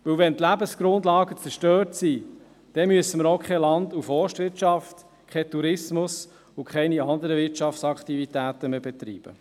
Wenn die Lebensgrundlagen zerstört sind, müssen wir auch keine Land- und Forstwirtschaft, keinen Tourismus und keine anderen Wirtschaftsaktivitäten mehr betreiben.